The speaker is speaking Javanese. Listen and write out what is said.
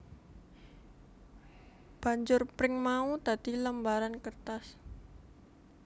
Banjur pring mau dadi lembaran kertas